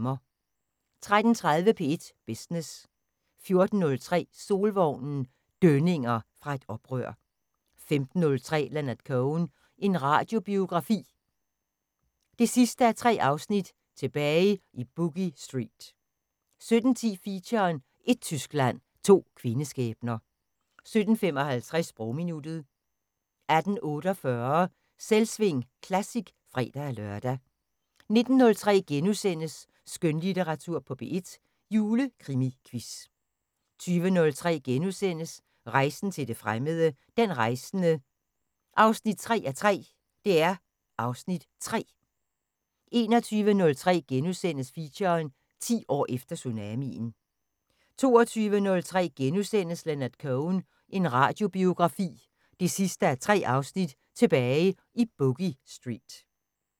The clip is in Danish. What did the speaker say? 13:30: P1 Business 14:03: Solvognen – dønninger fra et oprør 15:03: Leonard Cohen – en radiobiografi 3:3: Tilbage i Boogie Street 17:10: Feature: Ét Tyskland – to kvindeskæbner 17:55: Sprogminuttet 18:48: Selvsving Classic (fre-lør) 19:03: Skønlitteratur på P1: Julekrimiquiz * 20:03: Rejsen til det fremmede: Den rejsende 3:3 (Afs. 3)* 21:03: Feature: 10 år efter tsunamien * 22:03: Leonard Cohen – en radiobiografi 3:3: Tilbage i Boogie Street *